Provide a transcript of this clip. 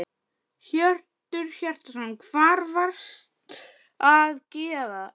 Hjörtur Hjartarson: Hvað varstu að gera þá?